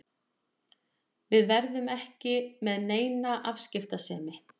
Við verðum ekki með neina afskiptasemi.